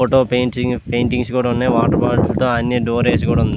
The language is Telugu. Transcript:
ఫోటో పెన్సీ పెయింటింగ్స్ కూడా ఉన్నాయ్ వాటర్ బాటిల్స్ తో ఆడ్నే డోర్ వేసి ఉంది.